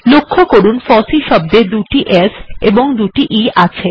লক্ষ্য করুন ফসি শব্দে দুটি s এবং দুটি e এর ব্যবহার আছে